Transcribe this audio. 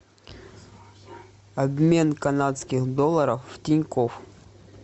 обмен канадских долларов в тинькофф